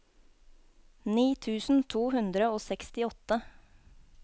ni tusen to hundre og sekstiåtte